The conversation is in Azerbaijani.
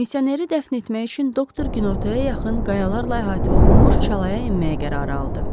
Misioneri dəfn etmək üçün doktor günortaya yaxın qayalarla əhatə olunmuş çalaya enməyə qərar aldı.